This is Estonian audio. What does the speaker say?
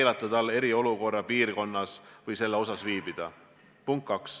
Kas me teame, kui palju meil on vajalikke aparaate?